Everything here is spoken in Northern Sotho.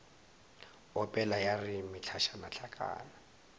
opela ya re mehlašana hlakana